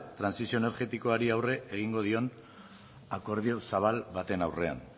trantsizio energetikoari aurre egin dion akordio zabal baten aurrean